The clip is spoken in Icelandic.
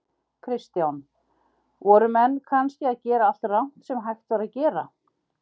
Kristján: Voru menn kannski að gera allt rangt sem hægt var að gera?